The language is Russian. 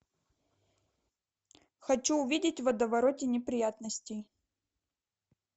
хочу увидеть в водовороте неприятностей